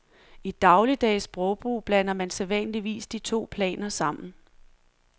I dagligdags sprogbrug blander man sædvanligvis de to planer sammen.